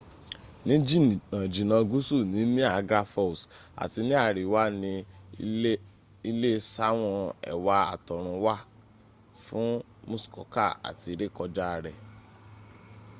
ní jìnnà jìnnà gúúsù ni niagra falls àti ní àríwá ni ilé sáwọn ẹwà àtọrun wá fún muskoka àti rékọjá rẹ̀